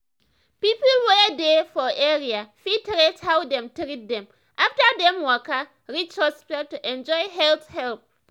people wey dey for area fit rate how dem treat dem after dem waka reach hospital to enjoy health help.